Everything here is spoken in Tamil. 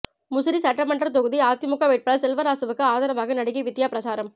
முசிறி சட்டமன்ற தொகுதி அதிமுக வேட்பாளர் செல்வராசுவுக்கு ஆதரவாக நடிகை விந்தியா பிரசாரம்